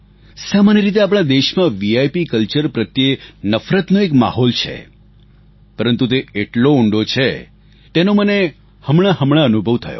સામાન્ય રીતે આપણા દેશમાં વિપ કલ્ચર પ્રત્યે નફરતનો એક માહોલ છે પરંતુ તે એટલો ઉંડો છે તેનો મને હમણાં હમણાં અનુભવ થયો